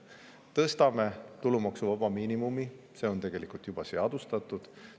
Tõstame tulumaksuvaba miinimumi, see on tegelikult juba seadustatud.